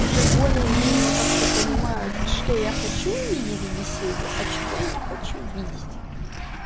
уже более-менее как-то понимают что я хочу увидеть в беседе а чего я не хочу видеть